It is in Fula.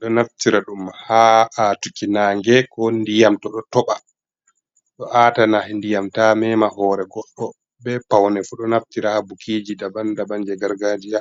ɗo naftira ɗum ha atugo nage, ko ndiyam toh ɗo toɓa ɗo ata ndiyam ta mema hore, bei paune fu ɗo naftira ha bukiji daban daban je gargajiya.